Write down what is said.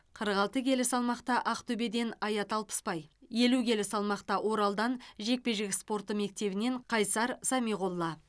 қырық алты келі салмақта ақтөбеден аят алпысбай елу келі салмақта оралдан жекпе жек спорты мектебінен қайсар самиғолла